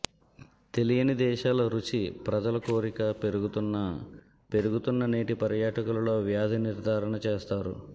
తెలియని దేశాల రుచి ప్రజల కోరిక పెరుగుతున్న పెరుగుతున్న నేటి పర్యాటకులలో వ్యాధి నిర్ధారణ చేస్తారు